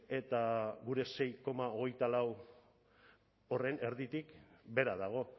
eta gure sei koma hogeita lau horren erditik behera dago